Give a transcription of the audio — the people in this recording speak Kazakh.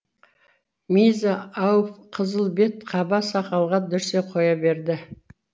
миза ауф қызыл бет қаба сақалға дүрсе қоя берді